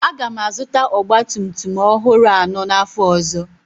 Aga m azụta ọgba tum tum ọhụrụ anọ n'afọ ọzọ.